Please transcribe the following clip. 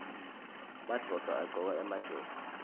madvodza agcoka emajobo